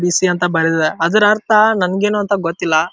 BC ಅಂತ ಬರೆದಿದೆ ಅದರ ಅರ್ಥ ನನಗೆ ಏನು ಅಂತ ಗೊತ್ತಿಲ್ಲ-